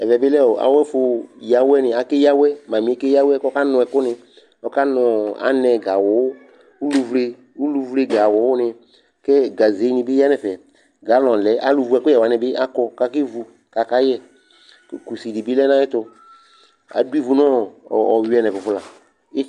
Ɛvɛ bɩ lɛ awʋ ɛfʋ yǝ awʋɛnɩ Akeyǝ awʋɛ Mamɩ yɛ keyǝ awʋɛ kʋ ɔkanʋ ɛkʋnɩ Ɔkanʋ anɛ gawʋ, uluvle gawʋnɩ kʋ gazenɩ bɩ yǝ nʋ ɛfɛ kʋ galɔnɩ lɛ Alʋwu ɛkʋyɛ wanɩ bɩ akɔ Akevu kʋ akayɛ Kʋ kusi dɩ bɩ lɛ nʋ ayɛtʋ Adʋ ivu nʋ ɔyʋɛ nʋ ɛkʋfʋ la